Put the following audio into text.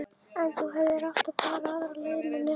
En þú hefðir átt að fara aðra leið að mér.